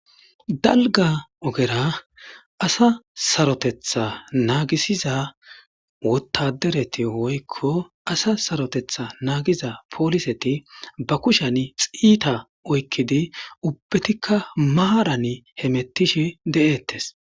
Dalga ogera asa saroteta naagisiza wotadereti woykko asa saroteta naagiza pooliseti ba kushen xiita oykkidi ubbetikka maaran hemettishi de'ettes.